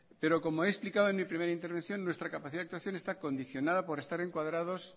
pero como he explicado en mi primera intervención nuestra capacidad de actuación está condicionada por estar encuadrados